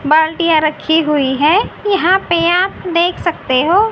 बाल्टियां रखी हुई है यहां पे आप देख सकते हो--